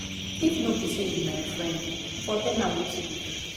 if no be say you be my friend i for tell a wetin you do.